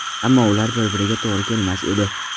Ammo ular bir-biriga to‘g‘ri kelmas edi.